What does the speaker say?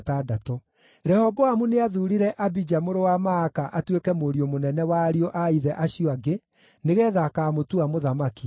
Rehoboamu nĩathuurire Abija mũrũ wa Maaka atuĩke mũriũ mũnene wa ariũ a ithe acio angĩ nĩgeetha akaamũtua mũthamaki.